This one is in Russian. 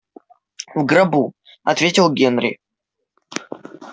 в гробу ответил генри